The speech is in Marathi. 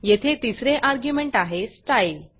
येथे तिसरे अर्ग्युमेंट आहे स्टाईल